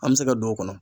An bɛ se ka don o kɔnɔ